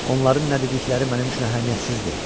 Onların nə dedikləri mənim üçün əhəmiyyətsizdir.